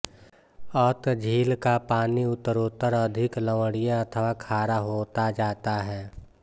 अत झील का पानी उत्तरोत्तर अधिक लवणीय अथवा खारा होता जाता है